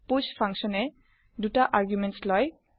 পুষ ফাংচন এ ২ টা আৰ্গুমেণ্টছ লয়